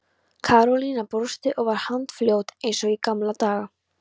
Karólína brosti og var handfljót eins og í gamla daga.